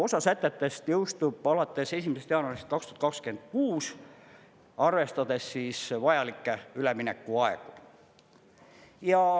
Osa sätetest jõustub alates 1. jaanuarist 2026, arvestades vajalikke üleminekuaegu.